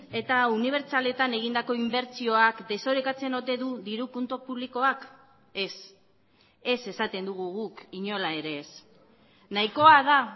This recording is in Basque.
eta unibertsaletan egindako inbertsioak desorekatzen ote du diru kontu publikoak ez ez esaten dugu guk inola ere ez nahikoa da